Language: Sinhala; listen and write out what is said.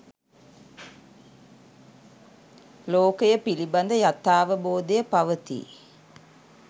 ලෝකය පිළිබඳ යථාවබෝධය පවති